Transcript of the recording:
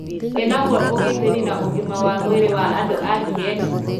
ĩnaguo ũgitĩri na ũgĩma wa mwĩrĩ wa andũ a kĩeni?